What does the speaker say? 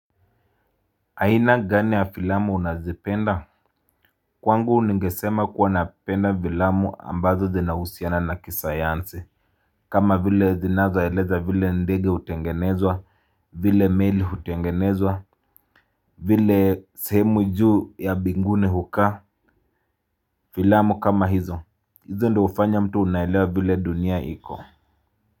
Aina gani ya filamu unazipenda. Kwangu ningesema kuwa napenda filamu ambazo zinahusiana na kisayansi. Kama vile zinazoeleza vile ndege hutengenezwa. Vile meli hutengenezwa. Vile sehemu juu ya binguni hukaa. Filamu kama hizo hizo ndo hufanya mtu unaelewa vile dunia iko.